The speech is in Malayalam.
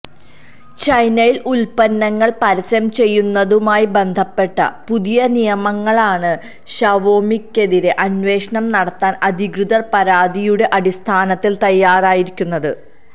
ചൈനയില് ഉല്പ്പന്നങ്ങള് പരസ്യം ചെയ്യുന്നതുമായി ബന്ധപ്പെട്ട പുതിയ നിയമങ്ങളാണ് ഷവോമിക്കെതിരെ അന്വേഷണം നടത്താന് അധികൃതര് പരാതിയുടെ അടിസ്ഥാനത്തില് തയ്യാറായിരിക്കുന്നത്